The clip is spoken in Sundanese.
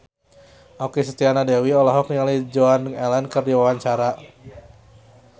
Okky Setiana Dewi olohok ningali Joan Allen keur diwawancara